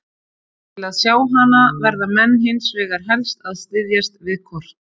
Til að sjá hana verða menn hins vegar helst að styðjast við kort.